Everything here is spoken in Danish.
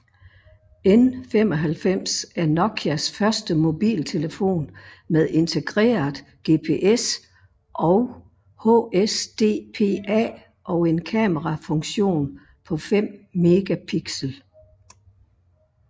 N95 er Nokias første mobiltelefon med integreret GPS og HSDPA og en kamerafunktion på 5 megapixel